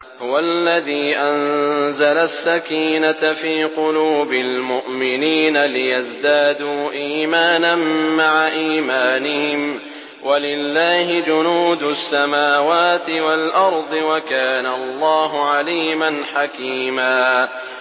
هُوَ الَّذِي أَنزَلَ السَّكِينَةَ فِي قُلُوبِ الْمُؤْمِنِينَ لِيَزْدَادُوا إِيمَانًا مَّعَ إِيمَانِهِمْ ۗ وَلِلَّهِ جُنُودُ السَّمَاوَاتِ وَالْأَرْضِ ۚ وَكَانَ اللَّهُ عَلِيمًا حَكِيمًا